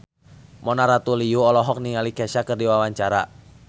Mona Ratuliu olohok ningali Kesha keur diwawancara